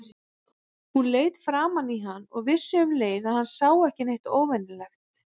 Hún leit framan í hann og vissi um leið að hann sá ekki neitt óvenjulegt.